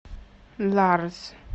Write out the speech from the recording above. ларз